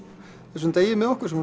þessum degi með okkur sem